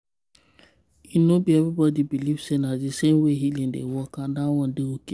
e no be everybody believe say na the same way healing dey work and dat one dey okay.